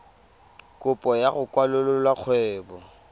kopo ya go kwalolola kgwebo